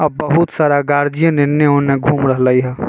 अ बहुत सारा गार्जियन इने-उने घूम रहले हई।